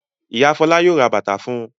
Ìyá Fọlá yóò ra bàtà fún un.